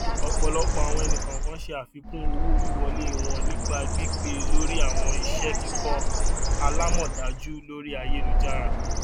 ọpọlọpọ awọn ẹnikọọkan ṣe afikun owowiwọle wọn nipa gbigbe lori awọn iṣẹ kikọ alamọdaju lori ayelujara